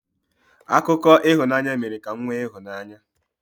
Akụkọ ịhụnanya mere ka m nwee ịhụnanya.